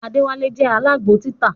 Adewale je alágbo títà